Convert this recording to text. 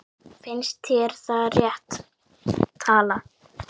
Finnst þér það rétt tala?